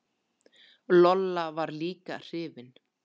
Lolla var líka hrifin.